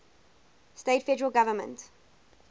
states federal government